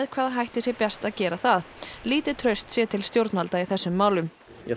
hvaða hætti sé best aða gera það lítið traust sé til stjórnvalda í þessum málum